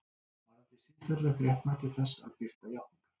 Varðandi siðferðilegt réttmæti þess að birta játningar